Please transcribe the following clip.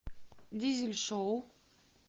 дизель шоу